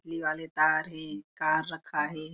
बिजली वाले तार हे कार रखाये हे।